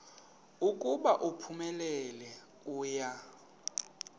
ukuba uphumelele uya